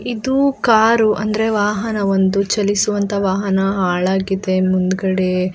ಇದು ಕಾರು ಅಂದ್ರೆ ವಾಹನ ಒಂದು ಚಲಿಸುವಂಥ ವಾಹನ ಹಾಳಾಗಿದೆ ಮುಂದ್ಗಡೆ --